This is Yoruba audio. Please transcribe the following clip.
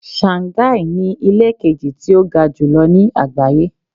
Shanghai ni ilé kejì tí ó ga jùlọ ní àgbáyé.